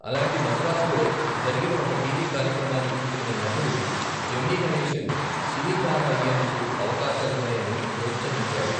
అలాంటి మద్రాసులో జరిగిన ఒక టీ.వీ కార్యక్రమాన్ని చూసిన నటుడు జెమినీ గణేశన్ సినీ తార అయ్యేందుకు అవకాశాలున్నాయని ప్రోత్సహించాడు.